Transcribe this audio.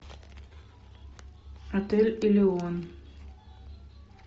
отель элеон